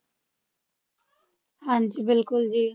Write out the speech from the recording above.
ਹਾਂਜੀ ਬਿਲਕੁਲ ਜੀ